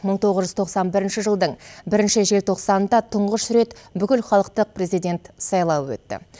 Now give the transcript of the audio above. мың тоғыз жүз тоқсан бірінші жылдың бірінші желтоқсанында тұңғыш рет бүкілхалықтық президент сайлауы өтті